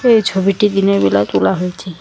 এই ছবিটি দিনের বেলা তোলা হয়েছে।